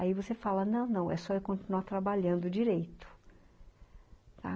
Aí você fala, ''não, não, é só eu continuar trabalhando direito.''